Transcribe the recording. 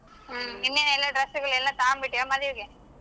ಹ್ಮ್ ನಿನ್ನೆ ಎಲ್ಲ dress ಗಳೆಲ್ಲಾ ತಗೋಂಡ್ಬಿಟ್ಯಾ ಮದ್ವೆಗೆ.